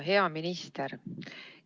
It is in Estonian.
Hea minister!